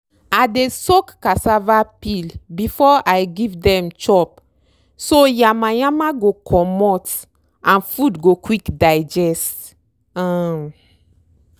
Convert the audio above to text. i dey soak cassava peel before i give dem chop so yama yama go comot and food go quick digest um